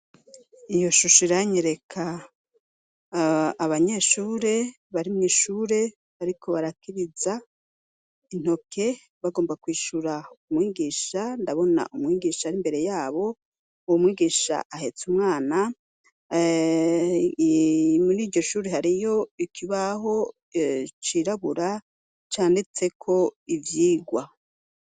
Iyo shusho iranyereka abanyeshure barimwo ishure, ariko barakiriza intoke bagomba kwishura umwigisha ndabona umwigisha ari imbere yabo uwu mwigisha ahetse umwanamuri iryo shure hariyo ikibaho ho cirabura canditseko ivyigwa.